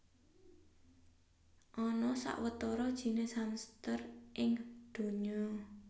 Ana sawetara jinis hamster ing donya